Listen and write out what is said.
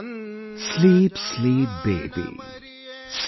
"Sleep, sleep, baby,